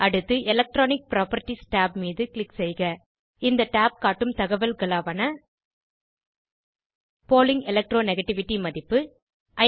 அடுத்து electronic properties tab மீது click செய்க இந்த tab காட்டும் தகவல்களாவன பாலிங் electro நெகட்டிவிட்டி மதிப்பு